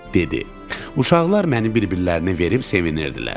Uşaqlar məni bir-birlərinə verib sevinirdilər.